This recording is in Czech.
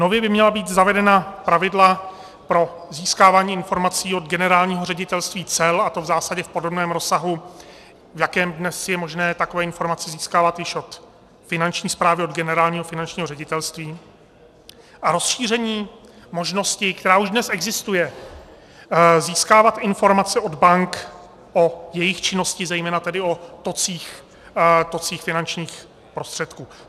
Nově by měla být zavedena pravidla pro získávání informací od Generálního ředitelství cel, a to v zásadě v podobném rozsahu, v jakém dnes je možné takové informace získávat již od Finanční správy, od Generálního finančního ředitelství, a rozšíření možnosti, která už dnes existuje, získávat informace od bank o jejich činnosti, zejména tedy o tocích finančních prostředků.